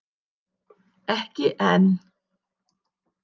Ekki enn.